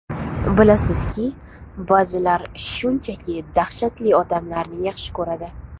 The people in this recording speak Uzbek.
Bilasizki, ba’zilar shunchaki dahshatli odamlarni yaxshi ko‘radi.